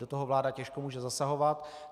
Do toho vláda těžko může zasahovat.